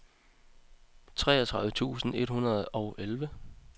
treogtredive tusind et hundrede og elleve